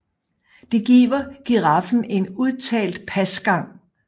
Det giver giraffen en udtalt pasgang